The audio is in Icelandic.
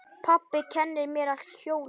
Pabbi kennir mér að hjóla.